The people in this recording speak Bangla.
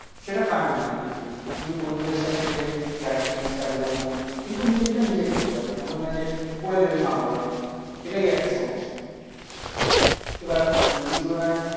সেটা কার না ভালো লাগে। কিন্তু বন্ধুদের সাথে গেলে ইয়ার্কি, ছ্যাবলামো, কিন্তু নিজেরটা নিজে করতে হবে এমন না যে করে দেবে মা বাবার মতন। এটাই একটা সমস্যা। এবার সেই তুলনায়